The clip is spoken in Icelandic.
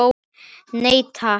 Nei takk.